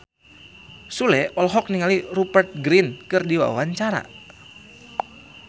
Sule olohok ningali Rupert Grin keur diwawancara